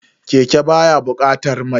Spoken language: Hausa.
Keke baya bukatar mai.